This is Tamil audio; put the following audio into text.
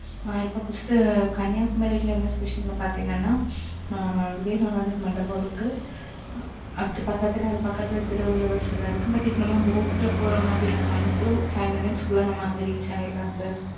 ஆ, இப்ப, first கன்னியாகுமரியில, என்ன special ன்னு, பாத்தீங்கன்னா, ஆ, விவேகானந்தர் மண்டபம் இருக்கு first பக்கத்துல, அது பக்கத்துல திருவள்ளுவர் சிலை இருக்கு. but இது நம்ம boat ல போற மாதிரி இருக்கும். one to five க்குள்ள, நம்ம அங்க reach ஆயிடலாம் sir